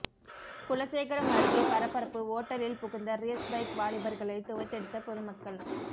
குலசேகரம் அருகே பரபரப்பு ஓட்டலில் புகுந்த ரேஸ் பைக் வாலிபர்களை துவைத்தெடுத்த பொதுமக்கள்